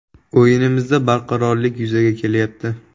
O‘yinimizda barqarorlik yuzaga kelyapti.